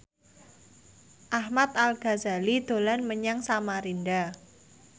Ahmad Al Ghazali dolan menyang Samarinda